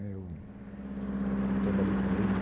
Né eu eu trabalhei com ele.